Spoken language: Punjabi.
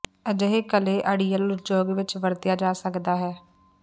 ਅਜਿਹੇ ਕਲੇ ਅੜੀਅਲ ਉਦਯੋਗ ਵਿੱਚ ਵਰਤਿਆ ਜਾ ਸਕਦਾ ਹੈ